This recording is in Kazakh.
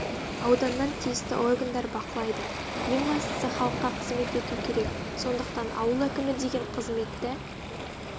ауданнан тиісті органдар бақылайды ең бастысы халыққа қызмет ету керек сондықтан ауыл әкімі деген қызметті